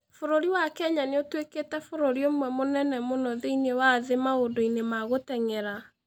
Bũrũri wa Kenya nĩ ũtuĩkĩte bũrũri ũmwe mũnene mũno thĩinĩ wa thĩ maũndũ-inĩ ma gũteng'era.